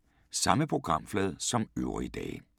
Samme programflade som øvrige dage